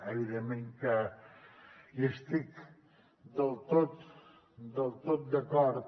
evidentment que hi estic del tot d’acord